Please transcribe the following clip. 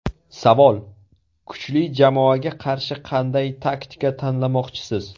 Savol: Kuchli jamoaga qarshi qanday taktika tanlamoqchisiz?